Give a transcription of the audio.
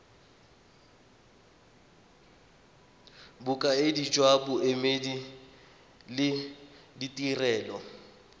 bokaedi jwa boemedi le ditirelo